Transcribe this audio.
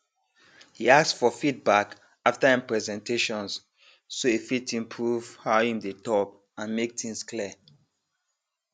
he ask for feedback after him presentations so he fit improve how him dey talk and make things clear